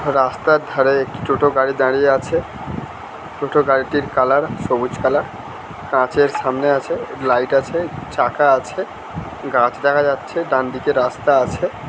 রাস্তার ধারে একটি টোটো গাড়ি দাঁড়িয়ে আছে | টোটো গাড়িটির কালার সবুজ কালার | কাঁচের সামনে আছে লাইট আছে চাকা আছে | গাছ দেখা যাচ্ছে ডানদিকে রাস্তা আছে ।